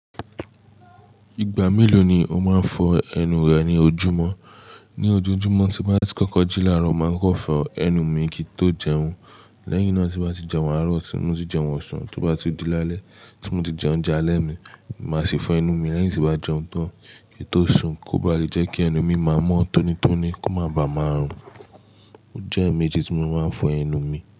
Ìgbà mélòó ni o máa ń fọ ẹnu rẹ ní ojúmọ́? Ni ojoojúmọ́ tí mo bá ti kọ́kọ́ jí làárọ̀, màá kọ́ fọ ẹnu mi kí tó jẹun. Lẹ́yìn náà tí mo bá ti jẹun àárọ̀, tí mo ti jẹun ọ̀sán, tó bá di lálẹ́, tí mo ti jẹ oúnjẹ alẹ́ mi, màá sì fọ ẹnu mi lẹ́yìn tí mo bá jẹun tán kí tó sùn, kó ba lè jẹ́ kí ẹnu mi máa mọ́ tónítóní, kó má ba à máa rùn. Ó jẹ́ ẹ̀ẹ̀mejì tí mo máa ń fọ ẹnu mi.